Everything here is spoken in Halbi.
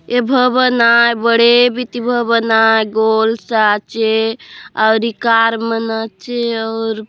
ए भवन आए बड़े बितीव भवन आए गोल से आचे और इ कार मन आचे और --